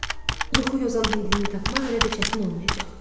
Yuxu yozan hindlini tapmaq elə də çətin olmayacaq.